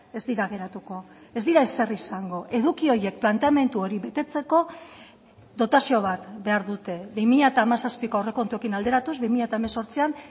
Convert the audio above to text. ez dira geratuko ez dira ezer izango eduki horiek planteamendu hori betetzeko dotazio bat behar dute bi mila hamazazpiko aurrekontuekin alderatuz bi mila hemezortzian